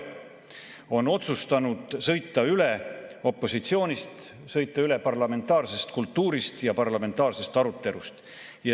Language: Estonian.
Ta on otsustanud sõita üle opositsioonist, sõita üle parlamentaarsest kultuurist ja parlamentaarsest arutelust.